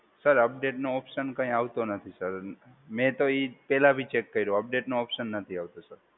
Sir અપડેટનો option કઈ આવતો નથી સર. મેં તો એ પહેલા બી ચેક કર્યું અપડેટનો ઓપ્શન આવતો નથી.